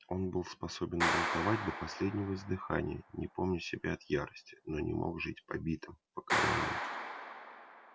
он был способен бунтовать до последнего издыхания не помня себя от ярости но не мог жить побитым покорённым